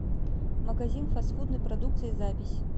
магазин фастфудной продукции запись